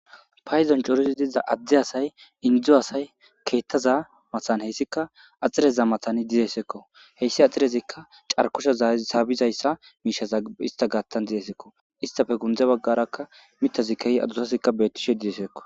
payzon corizi diza adde asay indzu asay keettaza matan heyssika axxireza matani dizeesekko heyssi axxirezikka carkosha zaabizayssa miishaza ista gaattan dizeesekko istafe gundze baggarakka mitazikeyi adusazikka bettishe dizeesekko